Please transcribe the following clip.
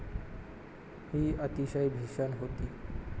ही अतिशय भीषण होती.